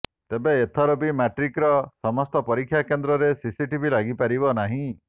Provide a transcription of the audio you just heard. ତେବେ ଏଥର ବି ମାଟ୍ରିକର ସମସ୍ତ ପରୀକ୍ଷା କେନ୍ଦ୍ରରେ ସିସିଟିଭି ଲାଗିପାରିବ ନାହିଁ